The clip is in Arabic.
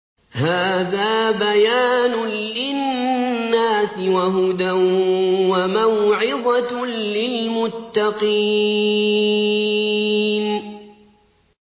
هَٰذَا بَيَانٌ لِّلنَّاسِ وَهُدًى وَمَوْعِظَةٌ لِّلْمُتَّقِينَ